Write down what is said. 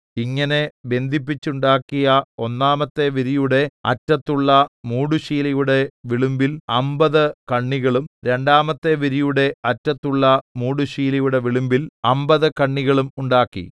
ഇങ്ങനെ ബന്ധിപ്പിച്ചുണ്ടാക്കിയ ഒന്നാമത്തെ വിരിയുടെ അറ്റത്തുള്ള മൂടുശീലയുടെ വിളുമ്പിൽ അമ്പത് കണ്ണികളും രണ്ടാമത്തെ വിരിയുടെ അറ്റത്തുള്ള മൂടുശീലയുടെ വിളുമ്പിൽ അമ്പത് കണ്ണികളും ഉണ്ടാക്കി